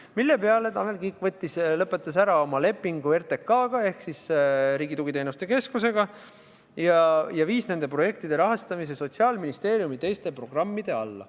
Selle peale lõpetas Tanel Kiik ära oma lepingu RTK-ga ehk Riigi Tugiteenuste Keskusega ning viis nende projektide rahastamise Sotsiaalministeeriumi teiste programmide alla.